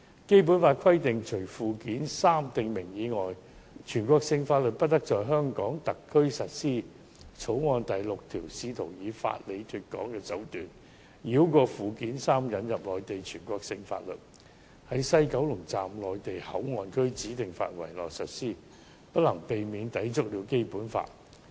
《基本法》規定，除附件三訂明外，全國性法律不得在香港特區實施。《條例草案》第6條試圖以法理"脫港"的手段，繞過附件三引入內地全國性法律，在西九龍站內地口岸區指定範圍內實施，此舉無可避免會抵觸《基本法》。